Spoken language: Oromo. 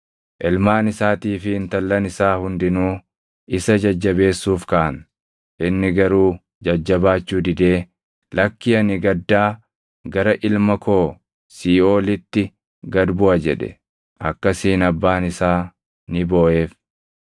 Ilmaan isaatii fi intallan isaa hundinuu isa jajjabeessuuf kaʼan; inni garuu jajjabaachuu didee, “Lakkii ani gaddaa gara ilma koo siiʼoolitti gad buʼa” jedhe. Akkasiin abbaan isaa ni booʼeef.